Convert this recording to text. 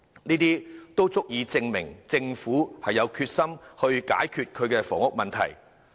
這些措施均足以證明政府有決心解決房屋問題。